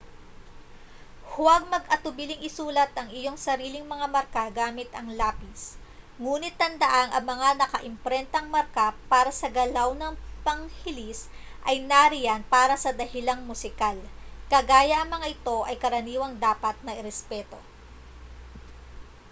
huwag mag-atubiling isulat ang iyong sariling mga marka gamit ang lapis nguni't tandaang ang mga nakaimprentang marka para sa galaw ng panghilis ay nariyan para sa dahilang musikal kaya ang mga ito ay karaniwang dapat na irespeto